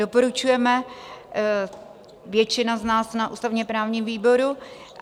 Doporučujeme, většina z nás na ústavně-právním výboru.